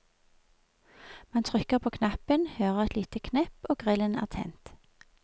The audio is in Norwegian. Man trykker på knappen, hører et lite knepp og grillen er tent.